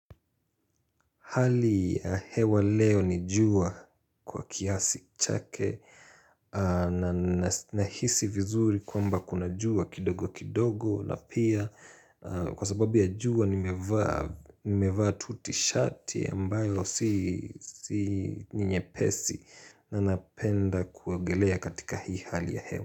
Hali ya hewa leo ni jua kwa kiasi chake nahisi vizuri kwamba kuna jua kidogo kidogo na pia kwa sababu ya jua nimevaa tu tishati ambayo si ni nyepesi na napenda kuogelea katika hii hali ya hewa.